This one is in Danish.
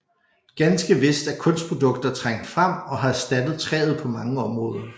Ganske vist er kunstprodukter trængt frem og har erstattet træet på mange områder